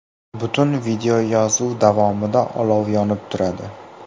Butun videoyozuv davomida olov yonib turadi.